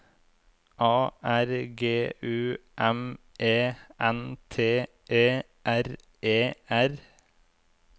A R G U M E N T E R E R